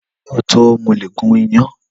Lọtọ, mo le gùn iyan